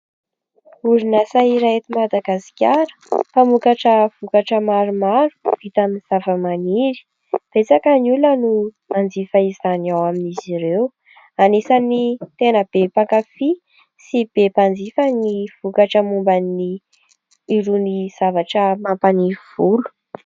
Horonantsary iray eto Madagasikara mpamokatra vokatra maromaro vita amin'ny zava-maniry. Betsaka ny olona no manjifa izany ao amin'izy ireo. Anisany tena be mpankafia sy be mpanjifa ny vokatra momban' ny irony zavatra mampaniry volo.